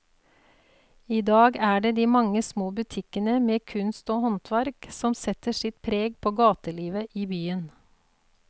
I dag er det de mange små butikkene med kunst og håndverk som setter sitt preg på gatelivet i byen.